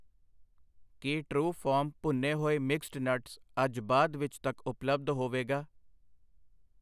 ਕੀ ਟਰਉਫਾਰਮ ਭੁੰਨੇ ਹੋਏ ਮਿਕਸਡ ਨਟਸ ਅੱਜ ਬਾਅਦ ਵਿੱਚ ਤੱਕ ਉਪਲੱਬਧ ਹੋਵੇਗਾ?